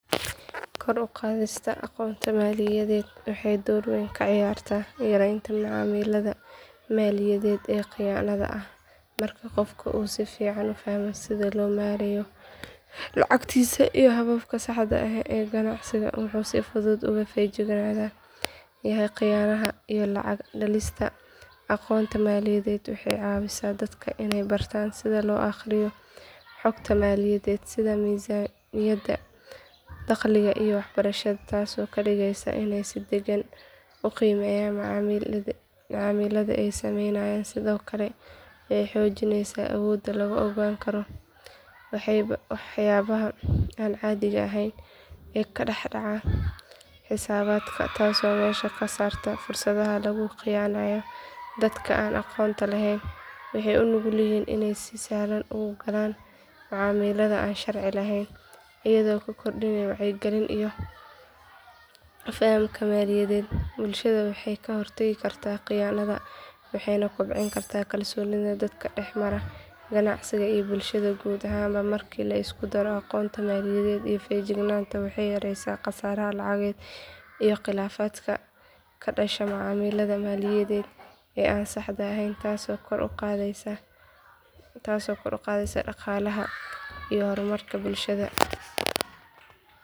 Kor u qaadista aqoonta maaliyadeed waxay door weyn ka ciyaartaa yareynta macaamillada maaliyadeed ee khiyaanada ah marka qofka uu si fiican u fahmo sida loo maareeyo lacagtiisa iyo hababka saxda ah ee ganacsi wuxuu si fudud uga feejigan yahay khiyaanadaha iyo lacag-dhalista aqoonta maaliyadeed waxay ka caawisaa dadka inay bartaan sida loo akhriyo xogta maaliyadeed sida miisaaniyadda dakhliga iyo kharashka taasoo ka dhigaysa inay si degan u qiimeeyaan macaamillada ay sameynayaan sidoo kale waxay xoojisaa awoodda lagu ogaan karo waxyaabaha aan caadiga ahayn ee ka dhex dhaca xisaabaadka taasoo meesha ka saarta fursadaha lagu khiyaaneeyo dadka aan aqoonta lahayn waxay u nugul yihiin inay si sahlan u galaan macaamillada aan sharci ahayn iyadoo la kordhiyo wacyiga iyo fahamka maaliyadeed bulshada waxay ka hortagi kartaa khiyaanadaha waxayna kobcin kartaa kalsoonida dadka dhex mara ganacsiga iyo bulshada guud ahaan marka la isku daro aqoonta maaliyadeed iyo feejignaanta waxay yareysaa khasaaraha lacageed iyo khilaafaadka ka dhasha macaamillada maaliyadeed ee aan saxda ahayn taas oo kor u qaadaysa dhaqaalaha iyo horumarka bulshada